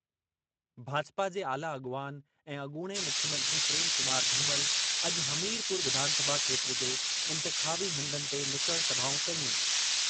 भाजपा जे आला अॻवान ऐं अॻूणे मुख्यमंत्री प्रेम कुमार धूमल अॼु हमीरपुर विधानसभा खेत्र जे इंतिख़ाबी हंधनि ते नुकड़ सभाऊं कयूं।